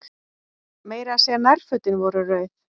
Meira að segja nærfötin voru rauð.